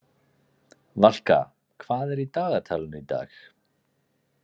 Valka, hvað er í dagatalinu í dag?